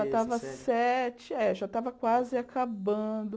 Eu já estava sete, eh já estava quase acabando.